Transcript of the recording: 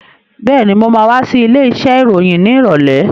Been, mo ma wá sí ilé iṣẹ́ ìròyìn ní ìrọ̀lẹ́